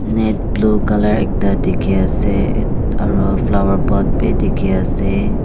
net blue colour ekta dikhiase aru follower pot bi dikhiase.